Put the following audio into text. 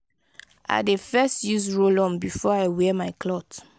i dey first use roll-on before i wear my cloth.